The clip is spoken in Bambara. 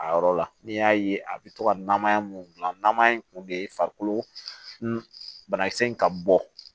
A yɔrɔ la n'i y'a ye a bɛ to ka namaya mun gilan namaya in kun de ye farikolo banakisɛ in ka bɔ